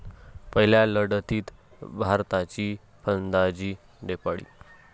पहिल्या लढतीत भारताची फलंदाजी ढेपाळली.